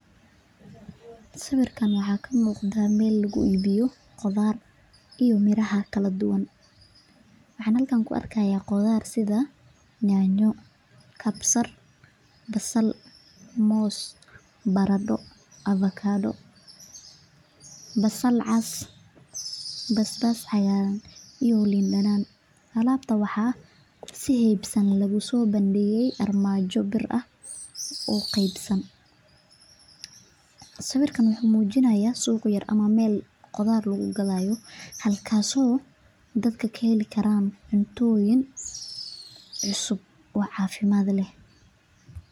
Sawirka waxaa ka muuqda meel lagu gado qudaar iyo miraha kala duban waxaan arki haaya basal iyo nyanya waxaa lagu soo bangeeye miis yar wuxuu mujinaya suuq yar oo qudaarta lagu gado.